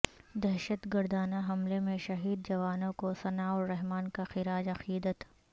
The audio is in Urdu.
دہشت گردانہ حملے میں شہید جوانوں کو ثناء الرحمان کا خراج عقیدت